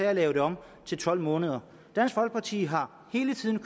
at lave det om til tolv måneder dansk folkeparti har hele tiden